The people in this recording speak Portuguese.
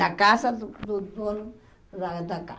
Na casa do do dono da da